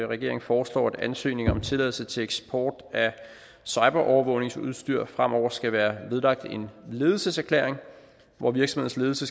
regeringen foreslår at ansøgninger om tilladelse til eksport af cyberovervågningsudstyr fremover skal være vedlagt en ledelseserklæring hvor virksomhedens